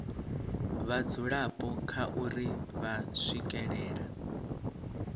vhadzulapo kha uri vha swikelela